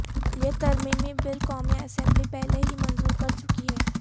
یہ ترمیمی بل قومی اسمبلی پہلے ہی منظور کر چکی ہے